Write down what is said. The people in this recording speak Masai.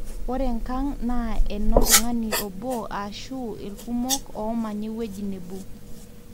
ore enkang naa eno oltung`ani obo ashu irkumok oomanya ewueji nebo.